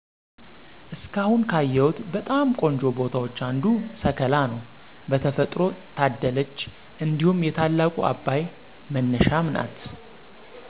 እስካሁን ካየሁት በጣም ቆንጆ ቦታዎች አንዱ ሰከላ ነው በተፈጥሮ ታደለች እንዲሁም የታላቁ አባይ መነሻም ናት።